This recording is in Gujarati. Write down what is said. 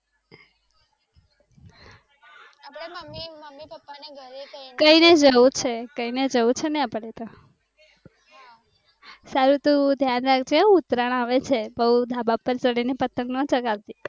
મમ્મી પપ્પા ને ઘરે. કહે જવું છે કહી ને જવું છે ને આપણે તો. સારું તું ધ્યાન રાખ જે ઉતરાણ આવે છે બઉ ધાબા પર ચડી ને પતંગ નો ચગાવતી.